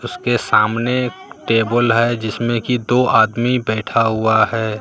उसके सामने टेबल है जिसमें की दो आदमी बैठा हुआ है।